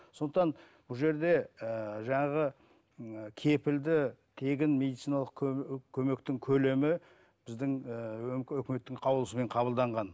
сондықтан бұл жерде ііі жаңағы ііі кепілді тегін медициналық көмектің көлемі біздің ііі өкіметтің қаулысымен қабылданған